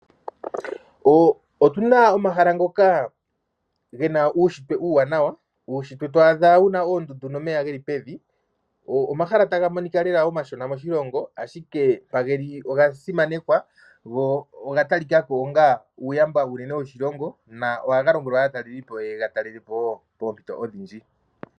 Otu na omahala ngoka ge na uunshitwe uuwanawa, uunshitwe twaadha wu na oondundu nomeya geli pevi. Omahala taga monika lela omashona moshilongo ashike mpa geli oga simanekwa, go oga talikaka ko onga uuyamba uunene woshilongo na ohaga longelwa aataleli po yega talele po wo poompito odhindji.